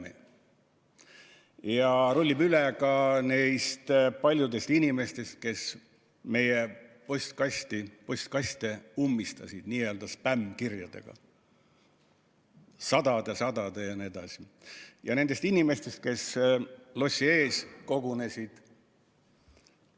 Et see rullib üle ka neist paljudest inimestest, kes meie postkaste ummistasid sadade ja sadade n-ö spämmkirjadega, ja nendest inimestest, kes lossi ees kogunesid.